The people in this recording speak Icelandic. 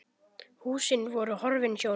Húsin voru horfin sjónum.